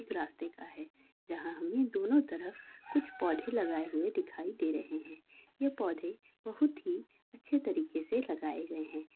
एक रास्ते का है जहाँ हमे दोनों तरफ कुछ पौधे लगाए हुए दिखाई दे रहे हैं। ये पौधे बहुत ही अच्छे तरीके से लगाए गए हैं।